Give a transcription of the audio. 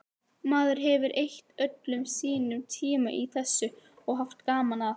Maður hefur eytt öllum sínum tíma í þessu og haft gaman að.